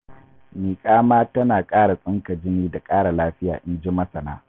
Miƙa ma tana ƙara tsinka jini da ƙara lafiya, inji masana